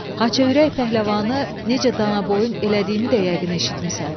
Haçaürək pəhləvanı necə danaboyun elədiyimi də yəqin eşitmisən.